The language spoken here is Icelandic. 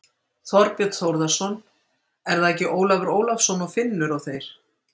Þorbjörn Þórðarson: Er það ekki Ólafur Ólafsson og Finnur og þeir?